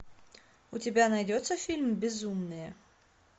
у тебя найдется фильм безумные